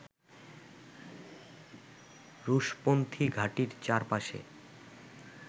রুশপন্থি ঘাঁটির চারপাশে